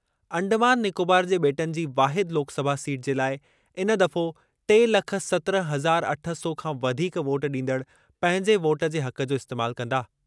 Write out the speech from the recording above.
अंडमान निकोबार जे बे॒टनि जी वाहिद लोकसभा सीट जे लाइ इन दफ़ो टे लख सत्रहं हज़ार अठ सौ खां वधीक वोट ॾींदड़ पंहिंजे वोट जे हक़ जो इस्तेमाल कंदा।